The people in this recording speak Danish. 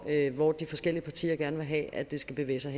hvor de forskellige partier gerne vil have det skal bevæge sig